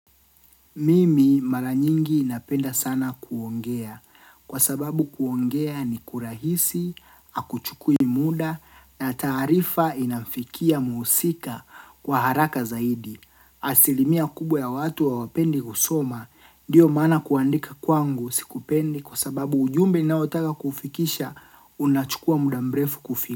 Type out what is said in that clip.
Mimi mara nyingi napenda sana kuongea. Kwa sababu kuongea ni kurahisi, akuchukui muda, na taarifa inamfikia muhusika kwa haraka zaidi. Asilimia kubwa ya watu hawapendi kusoma, ndiyo maana kuandika kwangu sikupendi kwa sababu ujumbe ninaotaka kuufikisha unachukua muda mrefu kufika.